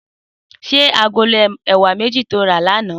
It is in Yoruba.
Sé àgóló èwá méji tó rà lànã